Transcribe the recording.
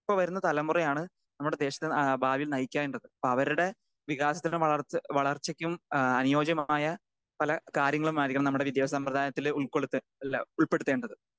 Speaker 2 ഇപ്പൊ വരുന്ന തലമുറയാണ് നമ്മുടെ ആ ദേശത്തെ ഭാവിയിൽ നയിക്കേണ്ടത്. അപ്പോ അവരുടെ വികാസത്തിനും വളർച്ച വളർച്ചയ്ക്കും ആ അനുയോജ്യമായ പല കാര്യങ്ങളും ആയിരിക്കണം നമ്മുടെ വിദ്യാഭ്യാസ സമ്പ്രദായത്തില് ഉൾക്കൊടുത്തേ അല്ല ഉൾപ്പെടുത്തേണ്ടത്.